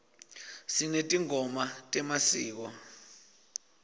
sinetingoma temasiko